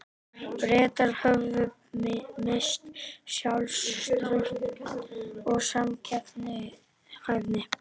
Bretar höfðu misst sjálfstraust og samkeppnishæfni.